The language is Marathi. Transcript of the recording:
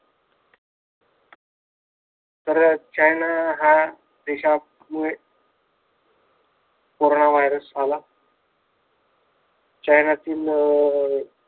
तर चायना या देशामुळे कोरोना वायरस आला. कोरोना वायरस आला चायनातील अह